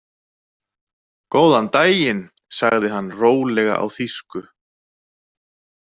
Góðan daginn, sagði hann rólega á þýsku.